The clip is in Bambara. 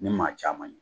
Ni maa caman ye